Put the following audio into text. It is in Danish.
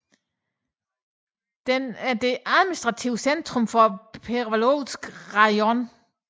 Den er det administrative centrum for Perevalsk rajon